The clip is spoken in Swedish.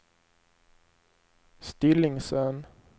Stillingsön